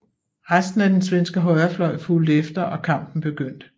Resten af den svenske højrefløj fulgte efter og kampen begyndte